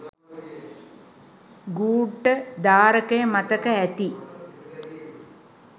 ගූඪධාරකය මතක ඇති